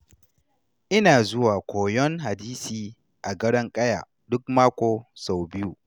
Ina zuwa koyon hadisi a Gadon Ƙaya duk mako sau biyu.